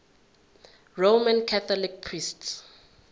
roman catholic priests